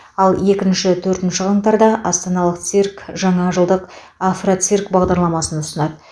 ал екінші төртінші қаңтарда астаналық цирк жаңа жылдық афроцирк бағдарламасын ұсынады